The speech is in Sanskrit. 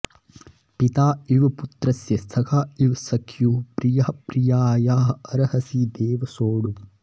पिता इव पुत्रस्य सखा इव सख्युः प्रियः प्रियायाः अर्हसि देव सोढुम्